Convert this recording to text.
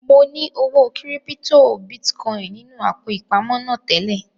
Mo ní owó kírípítò bitcoin nínú àpò ìpamọ́ náà tẹ́lẹ̀